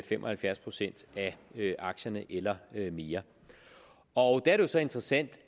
fem og halvfjerds procent af aktierne eller mere og der er det så interessant